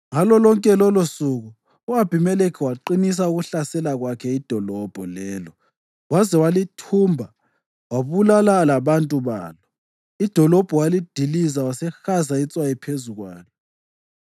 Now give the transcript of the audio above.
Ngalo lonke lolosuku u-Abhimelekhi waqinisa ukulihlasela kwakhe idolobho lelo waze walithumba wabulala labantu balo. Idolobho walidiliza wasehaza itswayi phezu kwalo.